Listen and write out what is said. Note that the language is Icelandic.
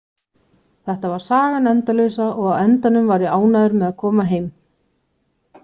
Þetta var sagan endalausa og á endanum var ég ánægður með að koma heim.